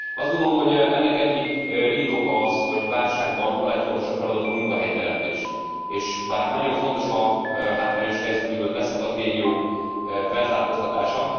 Azt gondolom, hogy ennek egyik indoka az, hogy válságban a legfontosabb feladat a munkahelyteremtés, és bár nagyon fontos a hátrányos helyzetű vagy leszakadt régiók felzárkóztatása.